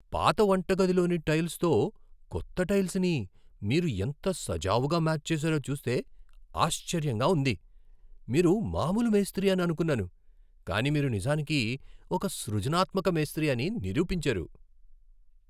పాత వంటగదిలోని టైల్సుతో కొత్త టైల్సుని మీరు ఎంత సజావుగా మ్యాచ్ చేశారో చూస్తే ఆశ్చర్యంగా ఉంది. మీరు మామూలు మేస్త్రి అని అనుకున్నాను, కానీ మీరు నిజానికి ఒక సృజనాత్మక మేస్త్రి అని నిరూపించారు.